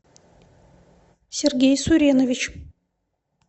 сергей суренович